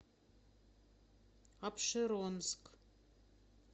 апшеронск